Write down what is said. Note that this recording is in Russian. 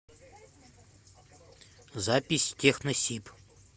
запись техносиб